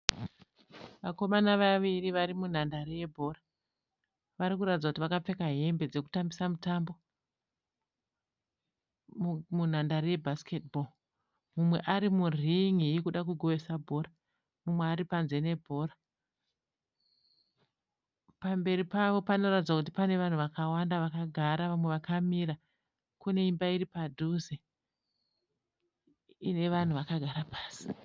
Vakomana vaviri vari munhandare yebhora. Vari kuratidza kuti vakapfeka hembe dzekutambisa mutambo munhandare yebhasiketi bho. Mumwe ari murin'i yekuda kugohwesa bhora mumwe ari panze nebhora. Pamberi pavo panoratidza kuti pane vanhu vakawanda vakagara vamwe vakamira. Kune imba iri padhuze ine vanhu vakagara pasi.